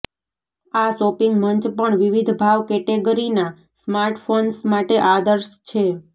આ શોપિંગ મંચ પણ વિવિધ ભાવ કેટેગરીના સ્માર્ટફોન્સ માટે આદર્શ છે